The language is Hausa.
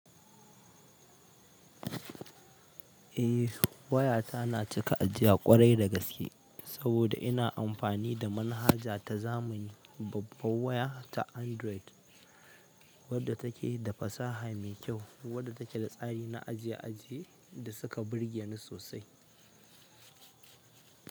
Eh to wayata na cika ajiya ƙwarai da gaske saboda ina amfani da manhaja zamani, babbar waya ta android, wadda take da fasaha mai kyau, wadda take da tsari na ajiye ajiye da suka birgeni sosai.